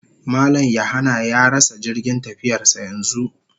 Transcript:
Mallam(John/Yahanna) ya rasa jirgin tafiyarsa yanzu